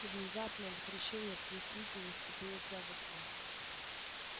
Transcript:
и внезапное возвращение к действительности было тягостным